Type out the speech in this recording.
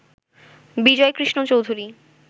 Bijoykrishna Chowdhury